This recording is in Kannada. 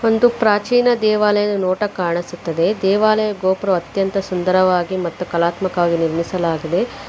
ಒಂದು ಪ್ರಾಚೀನ ದೇವಾಲಯದ ನೋಟ ಕಾಣಿಸುತ್ತದೆ ದೇವಾಲಯ ಗೋಪುರ ಅತ್ಯಂತ ಸುಂದರವಾಗಿ ಮತ್ತು ಕಲಾತ್ಮಕವಾಗಿ ನೀರ್ಮಿಸಲಾಗಿದೆ.